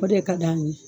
O de ka d'an ye